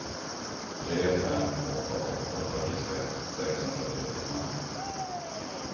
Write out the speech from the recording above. tre fem åtta åtta fyrtiosex sexhundratrettiofem